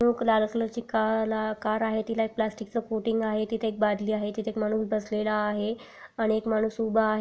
एक लाल कलर ची कार आहे तिला एक प्लटिक चा कोटिंग आहे तिथे एक बदली आहे तिथे एक माणूस बसलेला आहे आणि एक माणूस उभा आहे.